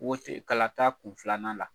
kalata kun filanan la.